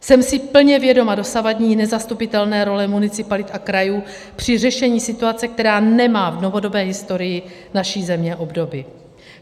Jsem si plně vědoma dosavadní nezastupitelné role municipalit a krajů při řešení situace, která nemá v novodobé historii naší země obdoby.